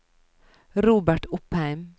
Robert Opheim